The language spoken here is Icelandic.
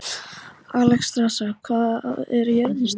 Alexstrasa, hvað er jörðin stór?